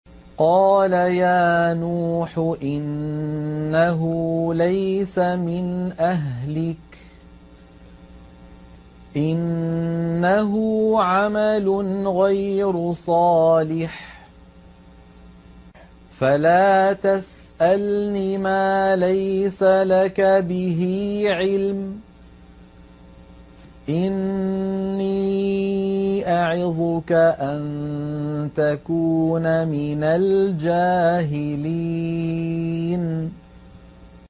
قَالَ يَا نُوحُ إِنَّهُ لَيْسَ مِنْ أَهْلِكَ ۖ إِنَّهُ عَمَلٌ غَيْرُ صَالِحٍ ۖ فَلَا تَسْأَلْنِ مَا لَيْسَ لَكَ بِهِ عِلْمٌ ۖ إِنِّي أَعِظُكَ أَن تَكُونَ مِنَ الْجَاهِلِينَ